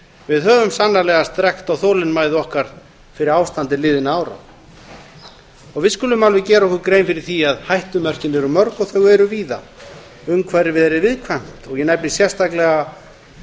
við höfum sannarlega strekkt á þolinmæði okkar fyrir ástandi liðinna ára og við skulum alveg gera okkur grein fyrir því að hættumörkin eru mörg og þau eru víða umhverfið er viðkvæmt og ég nefni sérstaklega